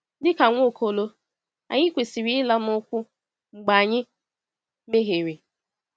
Dị ka Nwaokolo, anyị kwesịrị ịla n’ụkwụ mgbe anyị mehiere.